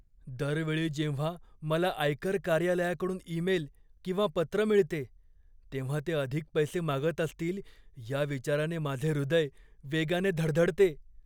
दर वेळी जेव्हा मला आयकर कार्यालयाकडून ईमेल किंवा पत्र मिळते, तेव्हा ते अधिक पैसे मागत असतील या विचाराने माझे हृदय वेगाने धडधडते.